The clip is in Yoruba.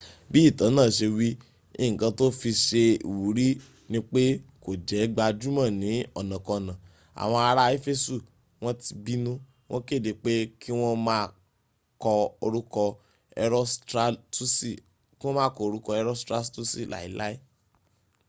bi itan naa se wi nkan to fi se iwuri nip e ko je gbajumo ni onakona awon ara efesu won ti binu won kede pe ki won ma ko oruko erostratusi lai lai